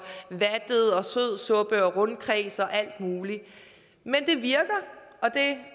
rundkreds og alt muligt men det virker og det